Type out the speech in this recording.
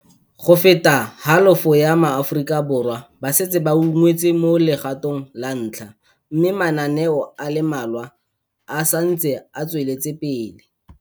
Go feta halofo ya maAfo rika Borwa ba setse ba ungwetswe mo legato ng la ntlha, mme mana neo a le mmalwa a sa ntse a tsweletsepele.